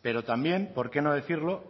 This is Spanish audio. pero también por qué no decirlo